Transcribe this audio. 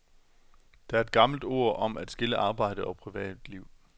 Der er et gammelt ord om at skille arbejde og privatliv.